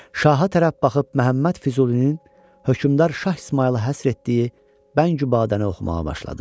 Şaha tərəf baxıb Məhəmməd Füzulinin hökmdar Şah İsmayıla həsr etdiyi Bəngü Badəni oxumağa başladı.